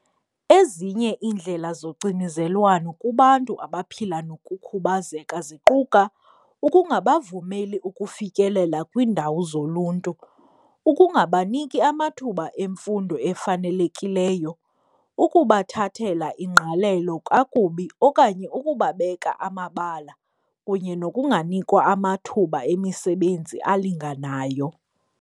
Ezinye iindlela zocinizelwano kubantu abaphila nokukhubazeka ziquka ukungabavumeli ukufikelela kwiindawo zoluntu, ukungabaniki amathuba emfundo efanelekileyo, ukubathathela ingqalelo kakubi okanye ukubabeka amabala kunye nokunganikwa amathuba emisebenzi alinganayo.